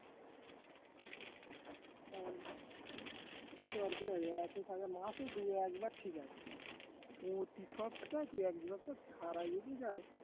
ও কি দরকার এতো মাসে দু একবার ঠিকাছে প্রতি সপ্তাহে দুই একবারতো যদি যায়